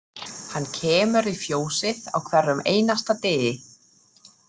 Hann kemur í fjósið á hverjum einasta degi.